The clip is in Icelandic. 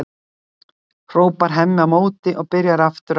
hrópar Hemmi á móti og byrjar aftur að æða um gólf.